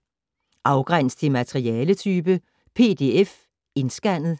Afgræns til materialetype: PDF indscannet